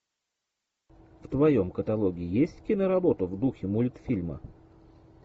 в твоем каталоге есть киноработа в духе мультфильма